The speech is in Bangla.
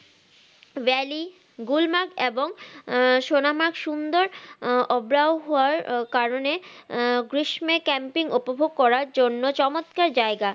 ভেলি গুল্মাক এবং আহ সোনা মাক সুন্দর আহ আব্রাহুয়ার কারণে আহ গ্রীষ্মে camping উপভোগ করার জন্য চমৎকার জায়গা